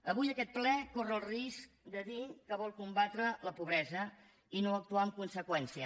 avui aquest ple corre el risc de dir que vol combatre la pobresa i no actuar en conseqüència